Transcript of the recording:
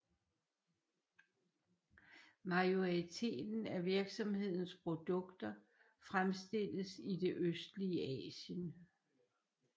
Majoriteten af virksomhedens produkter fremstilles i det østlige Asien